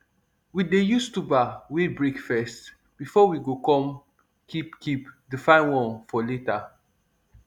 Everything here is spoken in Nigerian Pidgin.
we dey use tuber wey break first before we go come keep keep the fine one for later